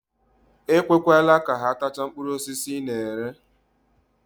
Ekwekwele ka ha tachaa mkpụrụ osisi ị na-ere.